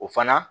O fana